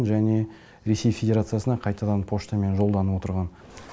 және ресей федерациясына қайтадан поштамен жолданып отырған